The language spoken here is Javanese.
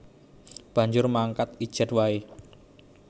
Banjur mangkat ijèn waé